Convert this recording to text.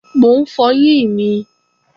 Mò ń fọyín mi